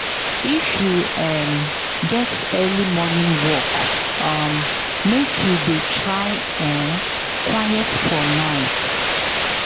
If you um get early morning work, um make you try dey um quiet for night.